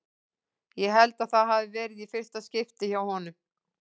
Ég held að það hafi verið í fyrsta skipti hjá honum.